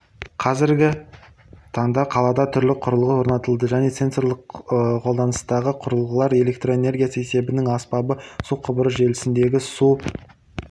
қазіргі таңда қалада түрлі құрылғы орнатылды және сенсорқолданыстағы құрылғылар электрэнергиясы есебінің аспабы су құбыры желісіндегі су